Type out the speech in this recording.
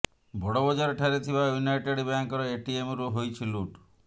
ବଡ଼ବଜାର ଠାରେ ଥିବା ୟୁନାଇଟେଡ ବ୍ୟାଙ୍କର ଏଟିଏମରୁ ହୋଇଛି ଲୁଟ